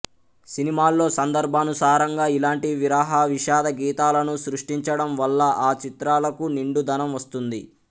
సినిమాల్లో సందర్భానుసారంగా ఇలాంటి విరహ విషాద గీతాలను సృష్టించడంవల్ల ఆ చిత్రాలకు నిండుదనం వస్తుంది